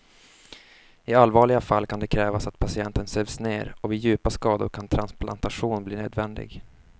I allvarliga fall kan det krävas att patienten sövs ner och vid djupa skador kan transplantation bli nödvändig.